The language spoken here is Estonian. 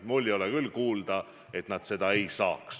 Ma ei ole küll kuulnud, et nad seda ei saa.